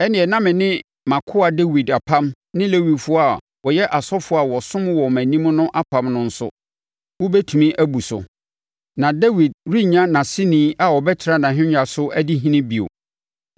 ɛnneɛ na me ne mʼakoa Dawid apam ne Lewifoɔ a wɔyɛ asɔfoɔ a wɔsom wɔ mʼanim no apam no nso, wobɛtumi abu so, na Dawid rennya nʼaseni a ɔbɛtena ahennwa so adi ɔhene bio.